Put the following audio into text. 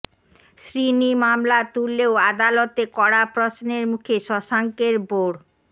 শ্রীনি মামলা তুললেও আদালতে কড়া প্রশ্নের মুখে শশাঙ্কের বোর্ড